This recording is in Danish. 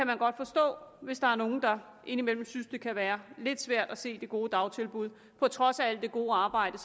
man godt forstå hvis der er nogle der indimellem synes at det kan være lidt svært at se det gode dagtilbud på trods af alt det gode arbejde